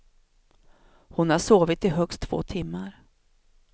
Hon har sovit i högst två timmar.